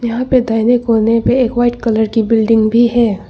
यहां पे दाहिने कोने पे एक व्हाइट कलर की बिल्डिंग भी है।